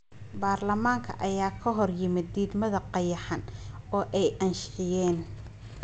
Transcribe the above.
baarlamaanka ayaa ka horyimid diidmada qayaxan oo ay ansixiyeen.